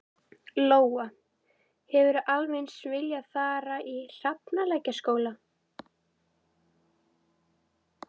Lóa: Hefðirðu alveg eins viljað fara í Hafralækjarskóla?